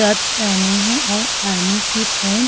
shirt पहनी है और आर्मी कि पैंट --